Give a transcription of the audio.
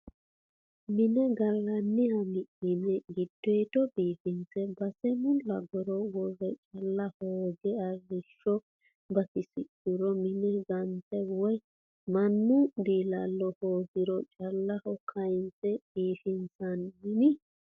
Mine gallaniha mi'nine giddodo biifinse base mulaguro woyi caale hooge arrishsho batidhuro mine gante woyi mannu diilalo hoogiro caaleho kayinse biifisi'nanni.